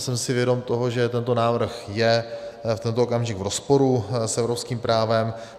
Jsem si vědom toho, že tento návrh je v tento okamžik v rozporu s evropským právem.